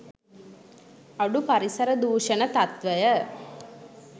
අඩු පරිසර දූෂණ තත්ත්වය